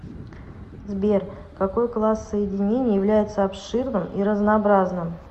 сбер какой класс соединений является обширным и разнообразным